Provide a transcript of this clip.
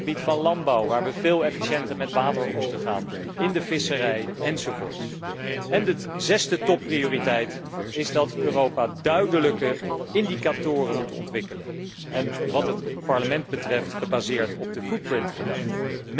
op het gebied van landbouw, waar we veel efficiënter met water moeten omgaan, in de visserij, enzovoort. En de zesde topprioriteit is dat Europa duidelijke indicatoren moet ontwikkelen en, wat het Parlement betreft, gebaseerd op de footprint gedachte.